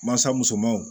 Mansa musomanw